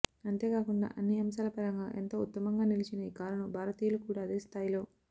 అంతేకాకుండా అన్ని అంశాల పరంగా ఎంతో ఉత్తమంగా నిలిచిన ఈ కారును భారతీయులు కూడా అదే స్థాయిలో